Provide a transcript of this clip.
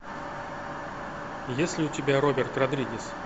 есть ли у тебя роберт родригес